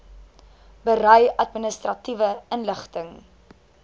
berei administratiewe inligting